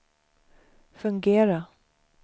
fungera